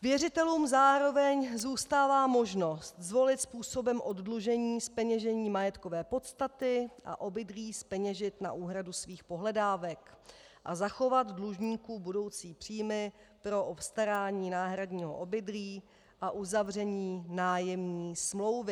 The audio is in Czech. Věřitelům zároveň zůstává možnost zvolit způsobem oddlužení zpeněžení majetkové podstaty a obydlí zpeněžit na úhradu svých pohledávek a zachovat dlužníku budoucí příjmy pro obstarání náhradního obydlí a uzavření nájemní smlouvy.